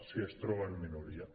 si es troba en minoria